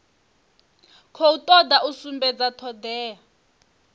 khou toda u sumbedza thodea